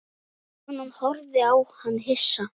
Konan horfði á hann hissa.